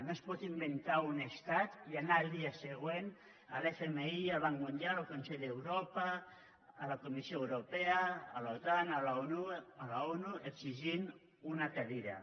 no es pot inventar un estat i anar al dia següent a l’fmi i al banc mundial al consell d’europa a la comissió europea a l’otan a l’onu i exigir una cadira